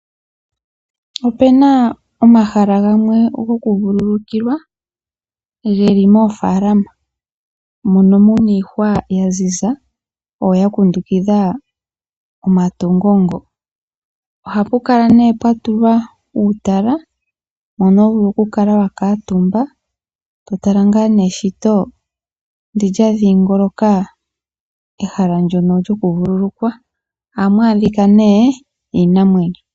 Opu na omahala gamwe gokuvululukilwa ge li moofaalama mono mu na iihwa ya ziza, oyo ya kundukidha omatungo ngoka. Ohapu kala nduno pwa tulwa uutala mono ho vulu okukala wa kuutumba to tala eshito ndyono lya dhiingoloka ehala ndyono lyokuvululukilwa. Ohamu adhika nduno iinamwenyo.